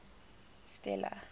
stella